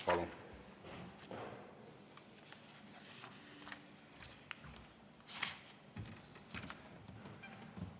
Palun!